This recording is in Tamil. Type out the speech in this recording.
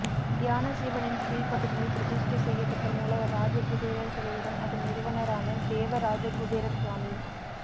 தியான சிவனின் கீழ்ப்பகுதியில் பிரதிஷ்டை செய்யப்பட்ட மூலவா் ராஜகுபேரா் சிலையுடன் அதன் நிறுவனரான தேவராஜகுபேரா் சுவாமி